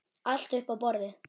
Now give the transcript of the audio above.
Allt upp á borðið?